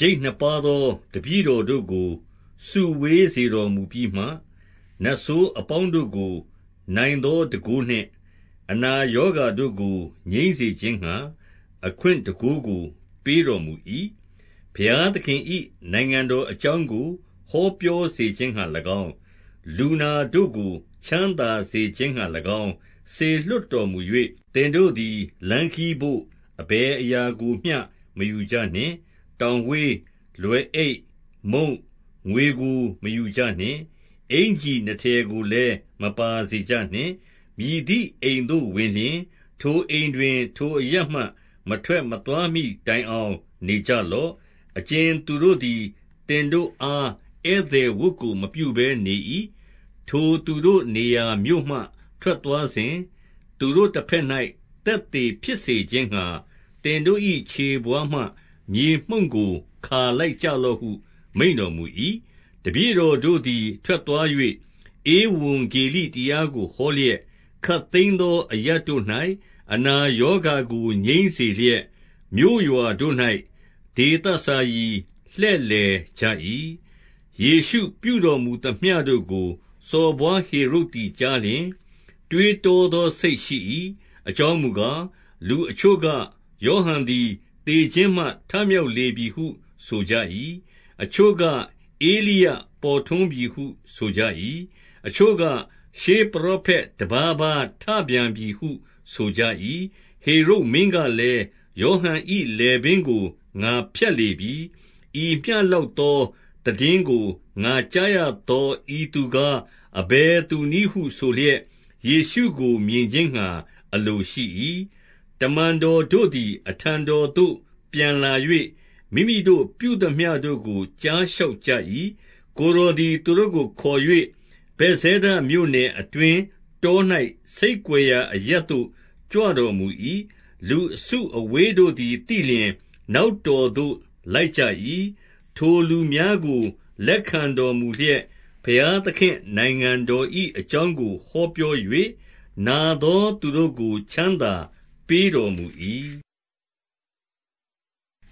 ကျိပ်နှစ်ပါးသော တပည့်တော်တို့ကို စုဝေးစေတော်မူပြီးမှ၊ နတ်ဆိုးအပေါင်းတို့ကို နိုင်သောတန်ခိုး နှင့် အနာရောဂါတို့ကို ငြိမ်းစေခြင်းငှါ အခွင့်တန်ခိုးကို ပေးတော်မူ၏။ 2 ဘုရားသခင်၏ နိုင်ငံတော်အကြောင်းကို ဟောပြောစေခြင်းငှါ၎င်း၊ လူနာတို့ကို ချမ်းသာစေခြင်းငှါ၎င်း စေလွှတ်တော်မူ၍၊ 3 သင်တို့သည် လမ်းခရီးဘို့ အဘယ်အရာကိုမျှမယူကြနှင့်။ တောင်ဝေး၊ လွယ်အိတ်၊ မုန့်၊ ငွေကို မယူကြ နှင့်။ အင်္ကျီနှစ်ထည်ကိုလည်း မပါစေကြနှင့်။ 4 မည်သည့် အိမ်သို့ဝင်လျှင် ထိုအိမ်တွင် ထိုအရပ်မှ မထွက်မသွားမှီတိုင်အောင်နေကြလော့။ အကြင်သူ တို့သည် သင်တို့အားဧည့်သည်ဝတ်ကို မပြုဘဲနေ၏။ 5 ထိုသူတို့နေရာမြို့မှ ထွက်သွားစဉ်၊ သူတို့တဘက်၌ သက်သေဖြစ်စေခြင်းငှါ သင်တို့၏ခြေဘဝါးမှ မြေမှုန့်ကို ခါလိုက်ကြလော့ဟု မိန့်တော်မူ၏။ 6 တပည့်တော်တို့သည် ထွက်သွား၍ ဧဝံဂေလိတရားကို ဟောလျက်၊ ခပ်သိမ်းသောအရပ်တို့၌ အနာ ရောဂါကိုငြိမ်းစေလျက်၊ မြို့ရွာတို့တွင် ဒေသစာရီ လှည့်လည်ကြ၏။ 7 ယေရှုပြုတော်မူသမျှတို့ကို စော်ဘွားဟေရုဒ်သည်ကြားလျှင် တွေးတောသောစိတ်ရှိ၏။ အကြောင်းမူ ကား၊ လူအချို့က၊ ယောဟန်သည် သေခြင်းမှထမြောက်လေပြီဟု ဆိုကြ၏။ 8 အချို့ကဧလိယပေါ်ထွန်းပြီဟု ဆိုကြ၏။ အချို့ကရှေးပရောဖက်တပါးပါးထပြန်ပြီဟုဆိုကြ၏။ 9 ဟေရုဒ်မင်းကလည်း၊ ယောဟန်၏လည်ပင်းကို ငါဖြတ်လေပြီ။ ဤမျှလောက်သောသိတင်းကို ငါကြား ရသော ဤသူကား အဘယ်သူနည်းဟုဆိုလျက်ယေရှုကို မြင်ခြင်းငှါ အလိုရှိ၏။ 10 တမန်တော်တို့သည် အထံတော်သို့ပြန်လာ၍ မိမိတို့ပြုသမျှတို့ကို ကြားလျှောက်ကြ၏။ ကိုယ်တော် သည် သူတို့ကိုခေါ်၍၊ ဗက်ဇဲဒမြို့နယ်အတွင်း တော၌ဆိတ်ကွယ်ရာအရပ်သို့ကြွတော်မူ၏။ လူအစုအဝေးတို့ သည် သိလျှင် နောက်တော်သို့ လိုက်ကြ၏။ 11 ထိုလူများကို လက်ခံတော်မူလျက်၊ ဘုရားသခင့် နိုင်ငံတော်၏အကြောင်းကို ဟောပြော၍၊ နာသော သူတို့ကို ချမ်းသာပေးတော်မူ၏။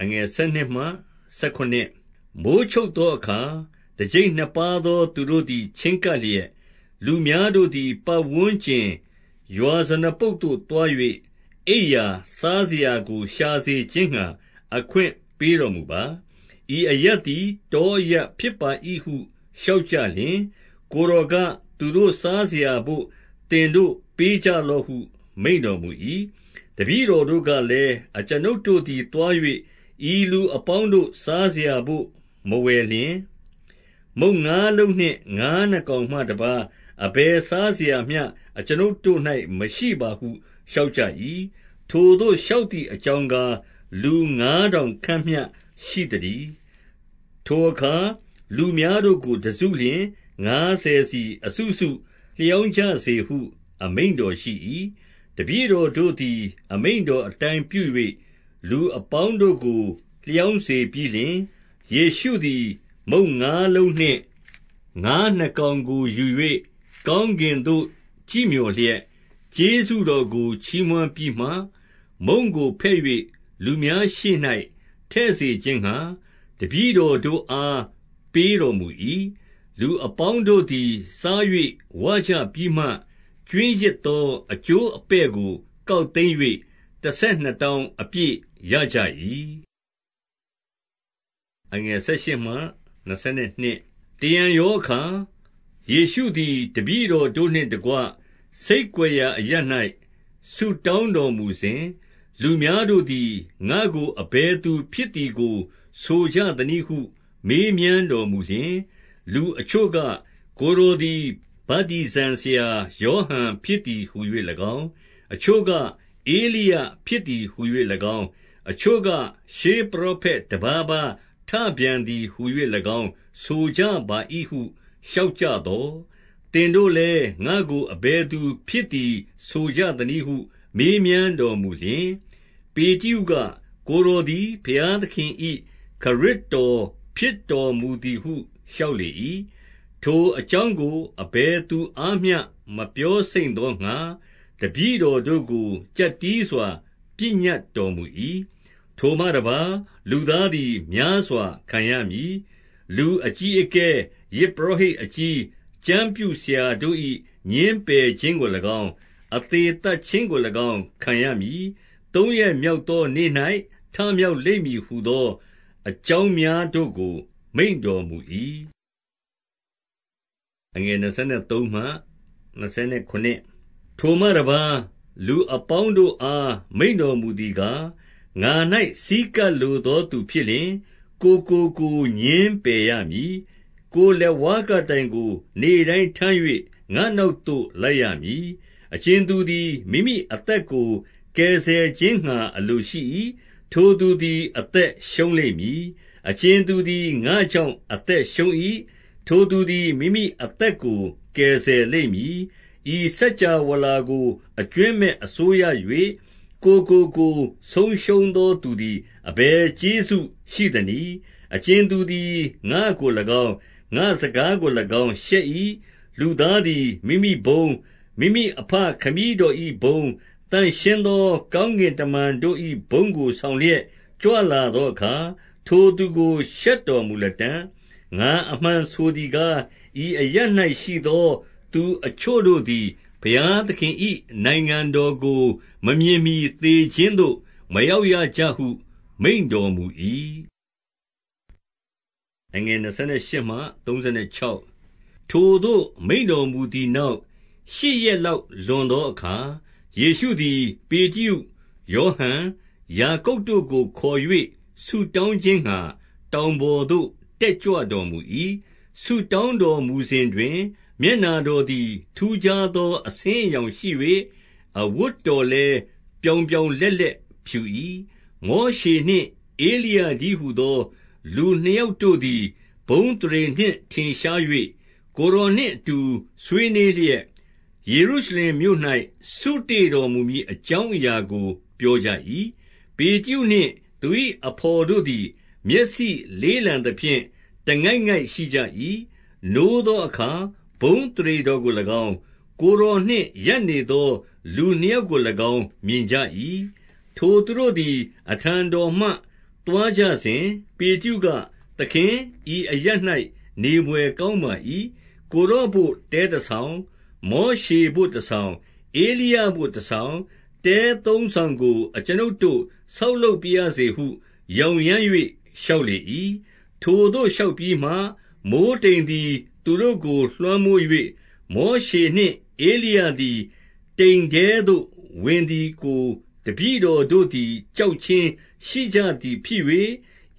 12 မိုဃ်းချုပ်သောအခါ တကျိပ်နှစ်ပါးသောသူတို့သည် ချည်းကပ်လျက်၊ လူများတို့သည် ပတ်ဝန်းကျင်ရွာ ဇနပုဒ်သို့သွား၍၊ အိပ်ရာ၊ စားစရာကို ရှာစေခြင်းငှါ အခွင့်ပေးတော်မူပါ။ ဤအရပ်သည် တောအရပ်ဖြစ်ပါ၏ ဟု လျှောက်ကြလျှင်၊ 13 ကိုယ်တော်က၊ သူတို့စားစရာဘို့ သင်တို့ပေးကြလော့ဟု မိန့်တော်မူ၏။ တပည့်တော်တို့ကလည်း၊ အကျွန်ုပ်တို့သည်သွား၍ ဤလူအပေါင်းတို့ စားစရာဘို့မဝယ်လျှင်၊ မုန့်ငါးလုံးနှင့် ငါးနှစ်ကောင်မှတပါး အဘယ် စားစရာမျှ အကျွန်ုပ်တို့၌ မရှိပါဟုလျှောက်ကြ၏။ 14 ထိုသို့လျှောက်သည်အကြောင်းကား၊ လူငါးထောင်ခန့်မျှ ရှိသတည်း။ ထိုအခါလူများတို့ကို တစုလျှင် ငါးဆယ်စီအစုစုလျောင်းကြစေဟု အမိန့်တော်ရှိ၏။ 15 တပည့်တော်တို့သည် အမိန့်တော်အတိုင်းပြု၍၊ လူအပေါင်းတို့ကို လျောင်းစေပြီးလျှင်၊ 16 ယေရှုသည် မုန့်ငါးလုံးနှင့် ငါးနှစ်ကောင်ကိုယူ၍ ကောင်းကင်သို့ကြည့်မျှော်လျက်၊ ကျေးဇူးတော်ကို ချီးမွမ်းပြီးမှ မုန့်ကိုဖဲ့၍ လူများရှေ့၌ ထည့်စေခြင်းငှါ တပည့်တော်တို့အားပေးတော်မူ၏။ 17 လူအပေါင်းတို့သည် စား၍ဝကြပြီးမှ ကြွင်းရစ်သောအကျိုးအပဲ့ကိုကောက်သိမ်း၍ တဆယ်နှစ်တောင်း အပြည့်ရကြ၏။ 18 တရံရောအခါ၊ ယေရှုသည် တပည့်တော်တို့နှင့်တကွ ဆိတ်ကွယ်ရာအရပ်၌ ဆုတောင်းတော်မူစဉ်၊ လူများတို့သည် ငါ့ကိုအဘယ်သူဖြစ်သည်ကို ဆိုကြသနည်းဟု မေးမြန်းတော်မူလျှင်၊ 19 လူအချို့က၊ ကိုယ်တော်သည် ဗတ္တိဇံဆရာ ယောဟန်ဖြစ်သည်ဟူ၍၎င်း၊ အချို့က၊ ဧလိယဖြစ်သည် ဟူ၍၎င်း၊ အချို့က၊ ရှေးပရောဖက် တပါးပါးထပြန်သည်ဟူ၍၎င်း ဆိုကြပါ၏ဟု လျှောက်ကြသော်၊ 20 သင်တို့လည်း ငါ့ကို အဘယ်သူဖြစ်သည်ဆိုကြသနည်းဟု မေးမြန်းတော်မူလျှင်၊ ပေတရုက၊ ကိုယ်တော် သည် ဘုရားသခင်၏ ခရစ်တော်ဖြစ်တော်မူသည်ဟု လျှောက်လေ၏။ 21 ထိုအကြောင်းကို အဘယ်သူအားမျှ မပြောစိမ့်သောငှါ တပည့်တော်တို့ကို ကြပ်တည်းစွာ ပညတ်တော် မူ၏။ 22 ထိုမှတပါး၊ လူသားသည် များစွာခံရမည်။ လူအကြီးအကဲ၊ ယဇ်ပုရောဟိတ်အကြီး၊ ကျမ်းပြုဆရာတို့၏ ငြင်းပယ်ခြင်းကို၎င်း၊ အသေသတ်ခြင်းကို၎င်း ခံရမည်။ သုံးရက်မြောက်သောနေ့၌ ထမြောက်လိမ့်မည်ဟူသော အကြောင်းများတို့ကို မိန့်တော်မူ၏။ 23 ထိုမှတပါး၊ လူအပေါင်းတို့အား မိန့်တော်မူသည်ကား၊ ငါ၌ဆည်းကပ်လိုသောသူဖြစ်လျှင် ကိုယ်ကို ကိုယ် ငြင်းပယ်ရမည်။ ကိုယ်လက်ဝါးကပ်တိုင်ကို နေ့တိုင်းထမ်း၍ ငါ့နောက်သို့လိုက်ရမည်။ 24 အကြင်သူသည် မိမိအသက်ကို ကယ်ဆယ်ခြင်းငှါ အလိုရှိ၏။ ထိုသူသည် အသက်ရှုံးလိမ့်မည်။ အကြင်သူသည် ငါ့ကြောင့်အသက်ရှုံး၏၊ ထိုသူသည် မိမိအသက်ကို ကယ်ဆယ်လိမ့်မည်။ 25 ဤစကြာဝဠာကို အကြွင်းမဲ့အစိုးရ၍ ကိုယ်ကို ကိုယ်ဆုံးရှုံးသောသူသည် အဘယ်ကျေးဇူးရှိသနည်။ 26 အကြင်သူသည် ငါ့ကို၎င်း၊ ငါ့စကားကို၎င်းရှက်၏၊ လူသားသည် မိမိဘုန်း၊ မိမိအဘခမည်းတော်၏ ဘုန်း၊ သန့်ရှင်းသောကောင်းကင်တမန်တို့၏ဘုန်းကို ဆောင်လျက်ကြွလာသောအခါ၊ ထိုသူကို ရှက်တော် မူလတံ့။ 27 ငါအမှန်ဆိုသည်ကား၊ ဤအရပ်၌ရှိသော သူအချို့တို့သည် ဘုရားသခင်၏ နိုင်ငံတော်ကို မမြင်မှီ သေ ခြင်းသို့ မရောက်ရကြဟု မိန့်တော်မူ၏။ 28 ထိုသို့မိန့်တော်မူသည်နောက်၊ ရှစ်ရက်လောက်လွန်သောအခါ၊ ယေရှုသည်ပေတရု၊ ယောဟန်၊ ယာကုပ် တို့ကိုခေါ်၍ ဆုတောင်းခြင်းငှါ တောင်ပေါ်သို့ တက်ကြွတော်မူ၏။ 29 ဆုတောင်းတော်မူစဉ်တွင် မျက်နှာတော်သည် ထူးခြားသောအဆင်းအရောင်ရှိ၍၊ အဝတ်တော်လည်း ပြောင်ပြောင်လက်လက်ဖြူ၏။ 30 မောရှေနှင့်ဧလိယတည်းဟူသော လူနှစ်ယောက်တို့သည် ဘုန်းအသရေနှင့်ထင်ရှား၍၊ 31 ကိုယ်တော်နှင့်အတူဆွေးနွေးလျက် ယေရုရှလင်မြို့၌ စုတေ့တော်မူမည်အကြောင်းအရာကို ပြော ကြ၏။ 32 ပေတရုနှင့် သူ၏အဘော်တို့သည် မျက်စိလေးလန်သဖြင့် တငိုက်ငိုက်ရှိကြ၏၊ နိုးသောအခါ ဘုန်း အသရေတော်ကို၎င်း၊ ကိုယ်တော်နှင့် ရပ်နေသောလူနှစ်ယောက်ကို၎င်း မြင်ကြ၏။ 33 ထိုသူတို့သည် အထံတော်မှသွားကြစဉ်၊ ပေတရုက၊ သခင်၊ ဤအရပ်၌နေဘွယ်ကောင်းပါ၏။ ကိုယ် တော်ဘို့တဲတဆောင်၊ မောရှေဘို့တဆောင်။ ဧလိယဘို့တဆောင်၊ တဲသုံးဆောင်ကို အကျွန်ုပ်တို့ ဆောက်လုပ် ပါရစေဟု ယောင်ယမ်း၍ လျှောက်လေ၏။ 34 ထိုသို့လျှောက်ပြီးမှ မိုဃ်းတိမ်သည် သူတို့ကိုလွှမ်းမိုး၍၊ မောရှေနှင့် ဧလိယသည်တိမ်ထဲသို့ဝင်သည်ကို တပည့်တော်တို့သည် ကြောက်ခြင်းရှိကြသည်ဖြစ်၍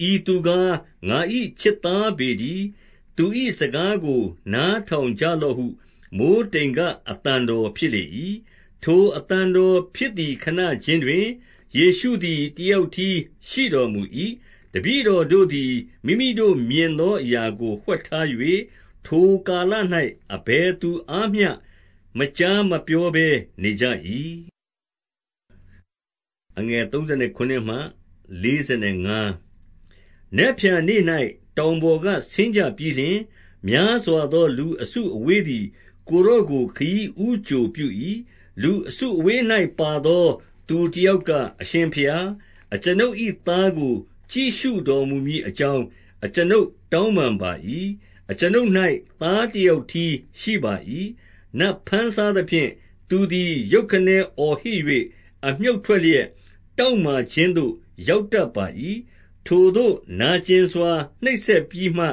၊ 35 ဤသူကား ငါ၏ချစ်သားပေတည်း။ သူ၏ စကားကိုနားထောင်ကြလော့ဟု မိုဃ်းတိမ်က အသံတော် ဖြစ်လေ၏။ 36 ထိုအသံတော်ဖြစ်သည် ခဏခြင်းတွင်၊ ယေရှုသည် တယောက်တည်းရှိတော်မူ၏။ တပည့်တော်တို့ သည် မိမိတို့မြင်သောအရာကိုဝှက်ထား၍၊ ထိုကာလ၌ အဘယ်သူအားမျှမကြားမပြောဘဲနေကြ၏။ 37 နက်ဖြန်နေ့၌ တောင်ပေါ်ကဆင်းကြပြီးလျှင်၊ များစွာသောလူအစုအဝေးသည် ကိုယ်တော်ကို ခရီး ဦးကြိုပြု၏။ 38 လူအစုအဝေး၌ ပါသောသူတယောက်က၊ အရှင်ဘုရား၊ အကျွန်ုပ်၏သားကို ကြည့်ရှုတော်မူမည် အကြောင်း အကျွန်ုပ်တောင်းပန်ပါ၏။ အကျွန်ုပ်၌ သားတယောက်တည်းရှိပါ၏။ 39 နတ်ဘမ်းစားသဖြင့် သူသည်ရုတ်ခနဲအော်ဟစ်၍၊ အမြှုတ်ထွက်လျက်တောင့်မာခြင်းသို့ ရောက်တတ် ပါ၏။ ထိုသို့ နာကျင်စွာနှိပ်စက်ပြီးမှ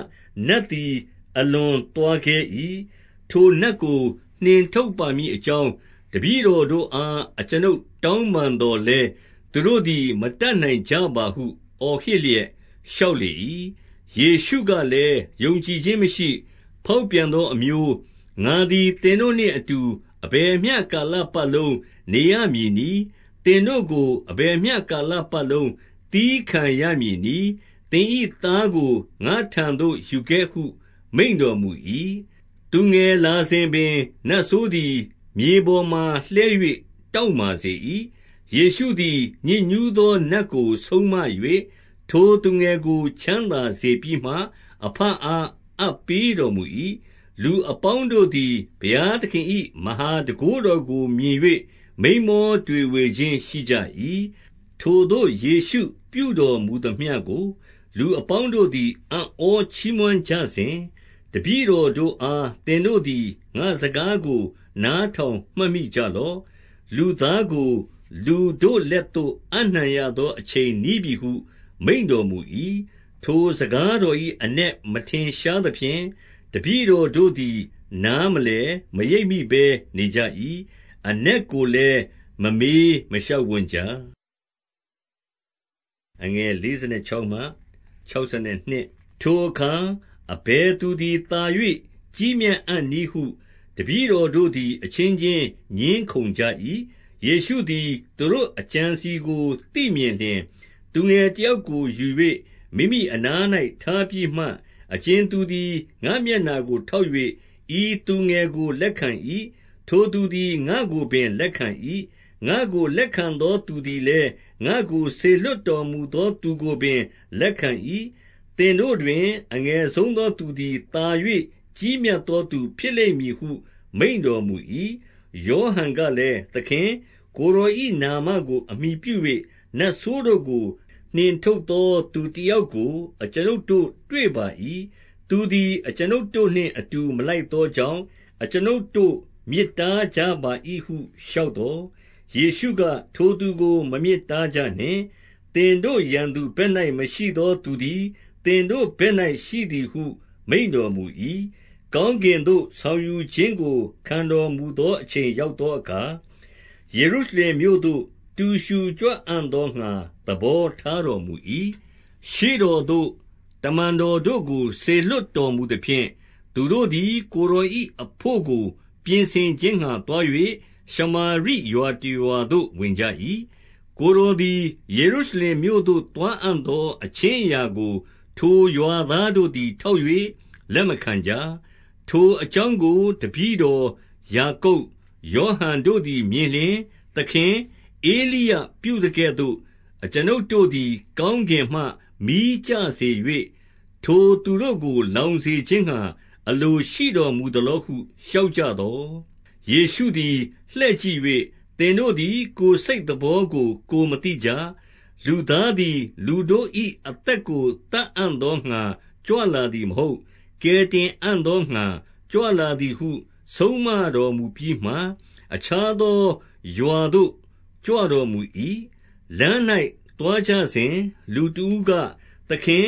နတ်သည်အလွန် သွားခဲ၏။ 40 ထိုနတ်ကို နှင်ထုတ်ပါမည်အကြောင်း တပည့်တော်တို့အား အကျွန်ုပ်တောင်းပန်သော်လည်း သူတို့ သည် မတတ်နိုင်ကြပါဟု အော်ဟစ်လျက် လျှောက်လေ၏။ 41 ယေရှုကလည်း၊ ယုံကြည်ခြင်းမရှိ၊ ဖောက်ပြန်သောအမျိုး၊ ငါသည်သင်တို့နှင့်အတူ အဘယ်မျှ ကာလ ပတ်လုံး နေရမည်နည်း။ သင်တို့ကို အဘယ်မျှ ကာလပတ်လုံး သည်းခံရမည်နည်း။ သင်၏သားကို ငါ့ထံသို့ ယူခဲ့ဟု မိန့်တော်မူ၏။ 42 သူငယ်လာစဉ်ပင်နတ်ဆိုးသည် မြေပေါ်မှာလှဲ၍ တောင့်မာစေ၏။ ယေရှုသည် ညစ်ညူးသောနတ်ကို ဆုံးမ၍ ထိုသူငယ်ကို ချမ်းသာစေပြီးမှ အဘအား အပ်ပေးတော်မူ၏။ 43 လူအပေါင်းတို့သည် ဘုရားသခင်၏ မဟာတန်ခိုးတော်ကို မြင်၍ မိန်းမောတွေဝေခြင်းရှိကြ၏။ 44 ထိုသို့ယေရှုပြုတော်မူသမျှကို လူအပေါင်းတို့သည် အံ့ဩချီးမွမ်းကြစဉ် တပည့်တော်တို့အား၊ သင်တို့ သည် ငါ့စကားကို နားထောင်မှတ်မိကြလော့။ လူသားကို လူတို့လက်သို့ အပ်နှံရသောအချိန်နီးပြီဟု မိန့်တော် မူ၏။ 45 ထိုစကားတော်၏ အနက်မထင်ရှားသဖြင့် တပည့်တော်တို့သည် နားမလည်မရိပ်မိဘဲနေကြ၏။ အနက် ကိုလည်းမမေးမလျှောက်ဝံ့ကြ။ 46 ထိုအခါ အဘယ်သူသည် သာ၍ကြီးမြတ်အံ့နည်းဟု တပည့်တော်တို့သည် အချင်းချင်းငြင်းခုံကြ၏။ 47 ယေရှုသည် သူတို့အကြံအစည်ကို သိမြင်လျှင်၊ သူငယ်တယောက်ကိုယူ၍ မိမိအနား၌ထားပြီးမှ၊ 48 အကြင်သူသည် ငါ့မျက်နှာကိုထောက်၍ ဤသူငယ်ကိုလက်ခံ၏၊ ထိုသူသည် ငါ့ကိုပင်လက်ခံ၏။ ငါ့ကို လက်ခံသောသူသည်လည်း ငါ့ကိုစေလွှတ်တော်မူသောသူကိုပင်လက်ခံ၏။ သင်တို့တွင် အငယ်ဆုံး သောသူ သည်သာ၍ကြီးမြတ်သော သူဖြစ်လိမ့်မည်ဟု မိန့်တော်မူ၏။ 49 ယောဟန်ကလည်း၊ သခင်၊ ကိုယ်တော်၏ နာမကို အမှီပြု၍ နတ်ဆိုးတို့ကို နှင်ထုတ်သောသူ တယောက်ကို အကျွန်ုပ်တို့တွေ့ပါ၏။ သူသည် အကျွန်ုပ်တို့နှင့်အတူ မလိုက်သောကြောင့် အကျွန်ုပ်တို့ မြစ် တားကြပါ၏ဟု လျှောက်သော်၊ 50 ယေရှုက၊ ထိုသူကိုမမြစ်တားကြနှင့်။ သင်တို့ ရန်သူဘက်၌မရှိသောသူသည် သင်တို့ဘက်၌ရှိသည်ဟု မိန့်တော်မူ၏။ 51 ကောင်းကင်သို့ဆောင်ယူခြင်းကို ခံတော်မူသောအချိန်ရောက်သောအခါ၊ ယေရုရှလင်မြို့သို့ တူရူကြွ အံ့သောငှါ သဘောထားတော်မူ၏။ 52 ရှေ့တော်သို့ တမန်တော်တို့ကို စေလွှတ်တော်မူသဖြင့်၊ သူတို့သည် ကိုယ်တော်၏အဘို့ကို ပြင်ဆင် ခြင်းငှါသွား၍ ရှမာရိရွာတရွာသို့ဝင်ကြ၏။ 53 ကိုယ်တော်သည် ယေရုရှလင်မြို့သို့သွားအံ့သော အခြင်းအရာကို ထိုရွာသားတို့သည် ထောက်၍ လက်မခံကြ။ 54 ထိုအကြောင်းကို တပည့်တော်ယာကုပ်၊ ယောဟန်တို့သည်မြင်လျှင်၊ သခင်၊ ဧလိယပြုသကဲ့သို့ အကျွန်ုပ်တို့သည် ကောင်းကင်မှမီးကျစေ၍ ထိုသူတို့ကို လောင်းစေခြင်းငှါ အလိုရှိတော်မူသလောဟု လျှောက် ကြသော်၊ 55 ယေရှုသည် လှည့်ကြည့်၍၊ သင်တို့သည် ကိုယ်စိတ်သဘောကို ကိုယ်မသိကြ၊ လူသားသည်လူတို့၏ အသက်ကို သတ်အံ့သောငှါ ကြွလာသည်မဟုတ်။ ကယ်တင်အံ့သောငှါကြွလာသည်ဟု ဆုံးမတော်မူပြီးမှ၊ 56 အခြားသောရွာသို့ကြွတော်မူ၏။ 57 လမ်း၌သွားကြစဉ် လူတဦးက၊ သခင်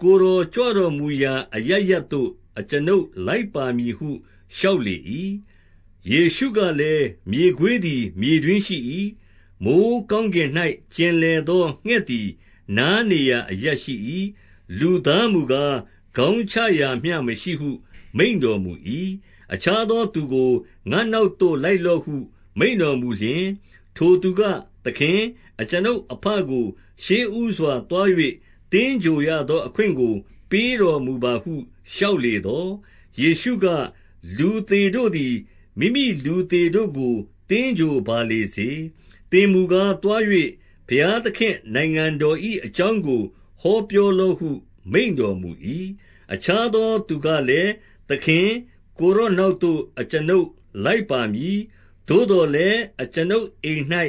ကိုယ်တော်ကြွတော်မူရာအရပ်ရပ်သို့ အကျွန်ုပ်လိုက်ပါမည်ဟု လျှောက်လေ၏။ 58 ယေရှုကလည်း၊ မြေခွေးသည်မြေတွင်းရှိ၏။ မိုဃ်းကောင်းကင်၌ ကျင်လည်သော ငှက်သည် နားနေရာ အရပ်ရှိ၏ လူသားမူကား ခေါင်းချရာမျှမရှိဟု မိန့်တော်မူ၏။ 59 အခြားသောသူကို၊ ငါ့နောက်သို့လိုက်လော့ဟု မိန့်တော်မူလျှင်၊ ထိုသူက၊ သခင်၊ အကျွန်ုပ်အဘကို ရှေ့ဦးစွာသွား၍ သင်္ဂြိုဟ်ရသောအခွင့်ကို ပေးတော်မူပါဟု လျှောက်လေသော်၊ 60 ယေရှုက၊ လူသေတို့သည် မိမိလူသေတို့ကို သင်္ဂြိုဟ်ပါလေစေ။ သင်မူကားသွား၍ ဘုရားသခင့်နိုင်ငံ တော်၏အကြောင်းကို ဟောပြောလော့ဟု မိန့်တော်မူ၏။ 61 အခြားသောသူကလည်း၊ သခင်၊ ကိုယ်တော်နောက်သို့ အကျွန်ုပ်လိုက်ပါမည်။ သို့သော်လည်း အကျွန်ုပ်အိမ်၌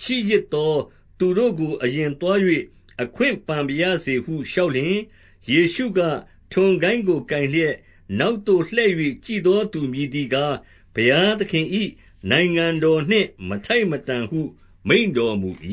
ရှိရစ်သောသူတို့ကို အရင်သွား၍ အခွင့်ပန်ပါရစေဟု လျှောက်လျှင်၊ 62 ယေရှုက၊ ထွန်ကိုင်းကို ကိုင်လျက်နောက်သို့ လှည့်၍ကြည့်သောသူမည်သည်ကား၊ ဘုရားသခင်၏ နိုင်ငံတော်နှင့် မထိုက်မတန်ဟု မိန့်တော်မူ၏။